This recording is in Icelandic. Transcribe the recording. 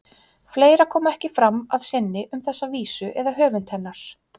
Fleira kom ekki fram að sinni um þessa vísu eða höfund hennar.